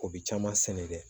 O bi caman sɛnɛ dɛ